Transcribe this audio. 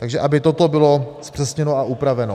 Takže aby toto bylo zpřesněno a upraveno.